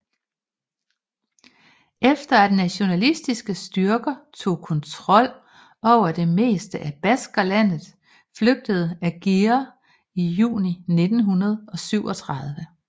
Efter at nationalistiske styrker tog kontrol over det meste af Baskerlandet flygtede Aguirre i juni 1937